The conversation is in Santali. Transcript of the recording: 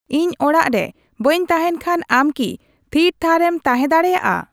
ᱤᱧ ᱚᱲᱟᱜ ᱨᱮ ᱵᱟᱹᱧ ᱛᱟᱦᱮᱱ ᱠᱷᱟᱱ ᱟᱢᱠᱤ ᱛᱷᱤᱨ ᱛᱷᱟᱨ ᱮᱢ ᱛᱟᱦᱮᱸ ᱫᱟᱲᱮᱹᱭᱟᱜᱼᱟ